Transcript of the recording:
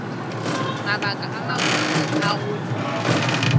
mabaka a mabotse a go